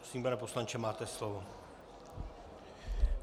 Prosím, pane poslanče, máte slovo.